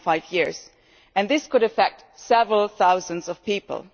1.5 years and this could affect several thousand people.